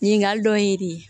Ɲininkali dɔ ye de